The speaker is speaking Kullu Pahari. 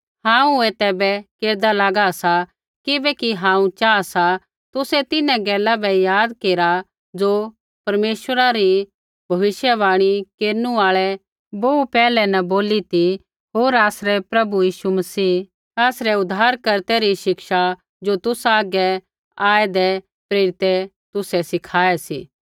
हांऊँ ऐ तैबै केरदा लागा सा किबैकि हांऊँ चाहा सा तुसै तिन्हां गैला बै याद केरा ज़ो परमेश्वरा री भविष्यवाणी केरनु आल़ै बोहू पैहलै न बोली ती होर आसरै प्रभु यीशु मसीहा आसरै उद्धारकर्ता री शिक्षा ज़ो तुसा हागै आऐदै प्रेरितै तुसै सिखाऐ सी